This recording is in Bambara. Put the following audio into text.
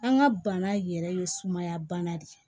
An ka bana yɛrɛ ye sumaya bana de ye